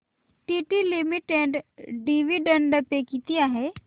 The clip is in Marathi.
टीटी लिमिटेड डिविडंड पे किती आहे